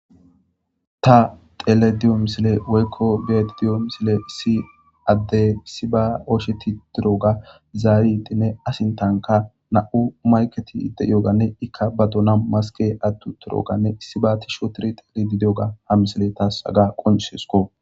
Ta tele diyo misile woykko beeti diyo misile si adde si ba ocsheti tiroga zaayitinne asintanka na'u maketi de yoganne ikka ba dona maske attu turoganne issiba ti shootiri xeli di diyoga ha misile taasaga qonshesko.